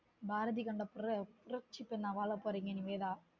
பாரதி கண்ட புரட்சி பொன்னா வாழ போறீங்க நிவேதா